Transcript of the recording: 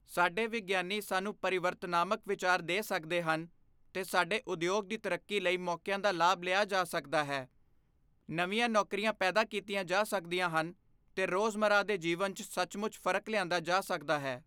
ਸਾਡੇ ਵਿਗਿਆਨੀ ਸਾਨੂੰ ਪਰਿਵਰਤਨਾਤਮਕ ਵਿਚਾਰ ਦੇ ਸਕਦੇ ਹਨ ਤੇ ਸਾਡੇ ਉਦਯੋਗ ਦੀ ਤਰੱਕੀ ਲਈ ਮੌਕਿਆਂ ਦਾ ਲਾਭ ਲਿਆ ਜਾ ਸਕਦਾ ਹੈ, ਨਵੀਂਆਂ ਨੌਕਰੀਆਂ ਪੈਦਾ ਕੀਤੀਆਂ ਜਾ ਸਕਦੀਆਂ ਹਨ ਤੇ ਰੋਜ਼ਮੱਰਾ ਦੇ ਜੀਵਨ ਚ ਸੱਚਮੁਚ ਫ਼ਰਕ ਲਿਆਂਦਾ ਜਾ ਸਕਦਾ ਹੈ।